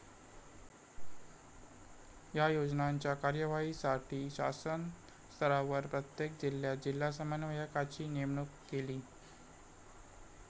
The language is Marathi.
या योजनांच्या कार्यवाहीसाठी शासन स्तरावर प्रत्येक जिल्ह्यात जिल्हा समन्वयकाची नेमणूक केली.